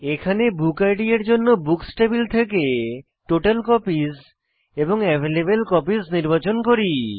এখানে book ID এর জন্য বুকস টেবিল থেকে টোটালকপিস এবং অ্যাভেইলেবলকপিস নির্বাচন করি